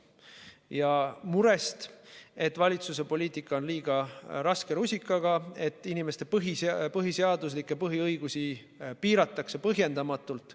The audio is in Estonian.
Neil on mure, et valitsus ajab poliitikat liiga raske rusikaga, et inimeste põhiseaduslikke põhiõigusi piiratakse põhjendamatult.